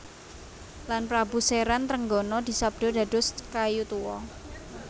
Lan Prabu Seran Trenggono disabda dados kayu tuwa